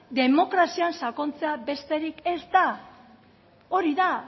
demokrazian sakontzea besterik ez da hori da